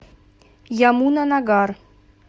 ямунанагар